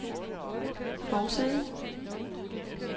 forside